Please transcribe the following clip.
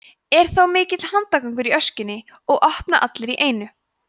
er þá mikill handagangur í öskjunni og opna allir í einu